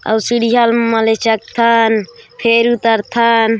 अउ सीढ़िया म ले चघथन फेर उतरथन--